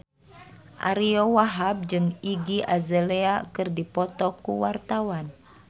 Ariyo Wahab jeung Iggy Azalea keur dipoto ku wartawan